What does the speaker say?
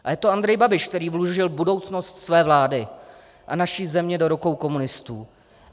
A je to Andrej Babiš, který vložil budoucnost své vlády a naší země do rukou komunistů.